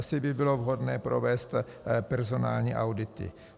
Asi by bylo vhodné provést personální audity.